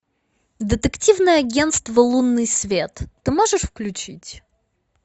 детективное агентство лунный свет ты можешь включить